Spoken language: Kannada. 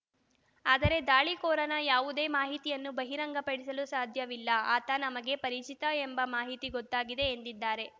ಆದರೆ ದಾಳಿಕೋರನ ಯಾವುದೇ ಮಾಹಿತಿಯನ್ನು ಬಹಿರಂಗಪಡಿಸಲು ಸಾಧ್ಯವಿಲ್ಲ ಆತ ನಮಗೆ ಪರಿಚಿತ ಎಂಬ ಮಾಹಿತಿ ಗೊತ್ತಾಗಿದೆ ಎಂದಿದ್ದಾರೆ